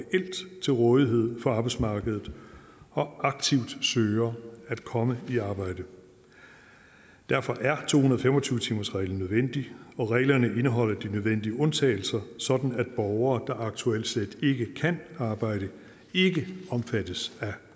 til rådighed for arbejdsmarkedet og aktivt søger at komme i arbejde derfor er to hundrede og fem og tyve timersreglen nødvendig og reglerne indeholder de nødvendige undtagelser sådan at borgere der aktuelt slet ikke kan arbejde ikke omfattes af